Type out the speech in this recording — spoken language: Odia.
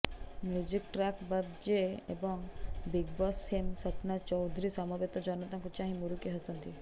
ମ୍ୟୁଜିକ୍ ଟ୍ରାକ୍ ବାଜେ ଏବଂ big boss fame Sapna Choudhary ସମବେତ ଜନତାଙ୍କୁ ଚାହିଁ ମୁରୁକି ହସନ୍ତି